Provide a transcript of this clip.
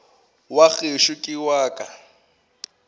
wa gešo ke wa ka